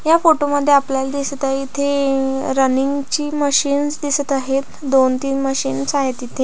या फोटो मध्ये आपल्याला दिसत आहे इथे रनिंग ची मशीन दिसत आहेत दोन तीन मशीन्स आहेत इथे.